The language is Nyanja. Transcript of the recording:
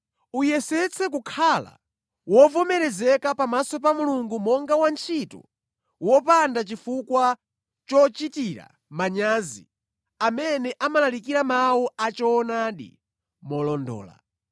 Uyesetse kukhala wovomerezeka pamaso pa Mulungu monga wantchito wopanda chifukwa chochitira manyazi amene amalalikira mawu achoonadi molondola.